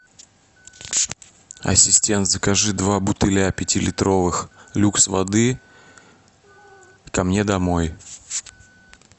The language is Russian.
ассистент закажи два бутыля пятилитровых люкс воды ко мне домой